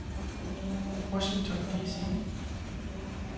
Washington D.C.